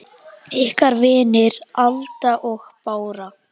Ykkar vinir, Alda og Bára.